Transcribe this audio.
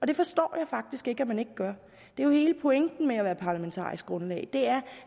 det forstår jeg faktisk ikke at man ikke gør hele pointen med at være parlamentarisk grundlag er